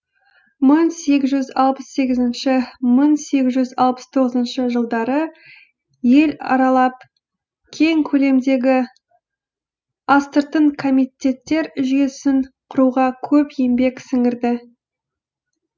мың сегіз жүз алпыс сегізінші мың сегіз алпыс тоғызыншы жылдары ел аралап кең көлемдегі астыртын комитеттер жүйесін құруға көп еңбек сіңірді